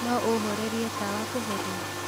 no ũhorerie tawa kũhoria